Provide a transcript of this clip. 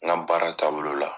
N ka baara tabolo la.